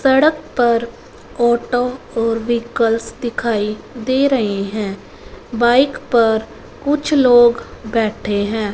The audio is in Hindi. सड़क पर ऑटो और व्हीकल्स दिखाई दे रहे हैं बाइक पर कुछ लोग बैठे हैं।